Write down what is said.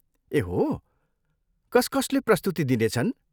ए हो, कस कसले प्रस्तुति दिनेछन्?